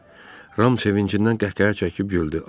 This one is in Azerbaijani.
Ram sevincindən qəhqəhə çəkib güldü.